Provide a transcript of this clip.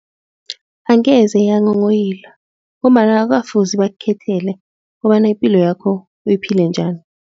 Angeze yanghonghoyila ngombana akukafuzi bakukhethele kobana ipilo yakho uyiphile njani.